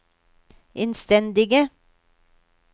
innstendige